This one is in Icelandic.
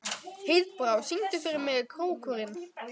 Heiðbrá, syngdu fyrir mig „Krókurinn“.